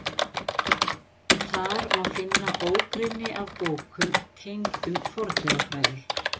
Þar má finna ógrynni af bókum tengdum fornleifafræði.